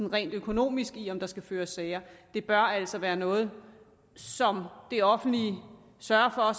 rent økonomisk interesse i om der skal føres sager det bør altså være noget som det offentlige sørger for